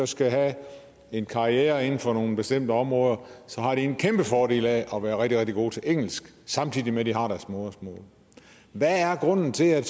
skal have en karriere inden for nogle bestemte områder har de en kæmpe fordel af at være rigtig rigtig gode til engelsk samtidig med de har deres modersmål hvad er grunden til at